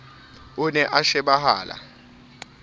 o ne a shebahala a